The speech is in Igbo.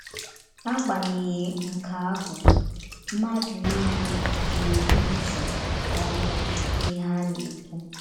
N’agbanyeghị nke ahụ, mmadụ niile gere ntị nke ọma n’ihe a na - ekwu.